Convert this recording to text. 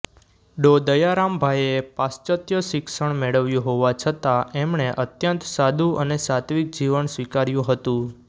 ડો દયારામભાઈએ પાશ્ચત્ય શિક્ષણ મેળવ્યું હોવા છતાં એમણે અત્યંત સાદું અને સાત્વિક જીવન સ્વીકાર્યું હતું